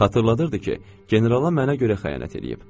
Xatırladırdı ki, generala mənə görə xəyanət eləyib.